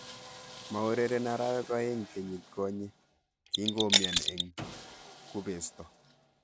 Maureren arawek aeng kenyiitkonye kingoumian eng kubesto